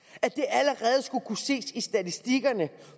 allerede skulle kunne ses i statistikkerne